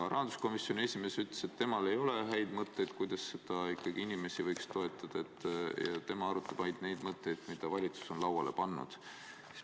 Rahanduskomisjoni esimees ütles, et temal ei ole häid mõtteid, kuidas ikkagi inimesi võiks toetada, tema arutab ainult neid mõtteid, mida valitsus on lauale pannud.